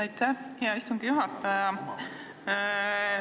Aitäh, hea istungi juhataja!